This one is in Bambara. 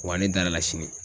Wa ne dar'a la sini.